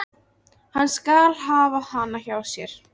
Hann skal hafa hana hjá sér.